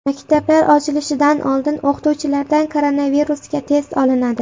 Maktablar ochilishidan oldin o‘qituvchilardan koronavirusga test olinadi.